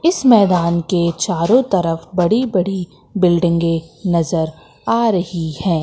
इस मैदान के चारो तरफ बड़ी बड़ी बिल्डिंगे नजर आ रही है।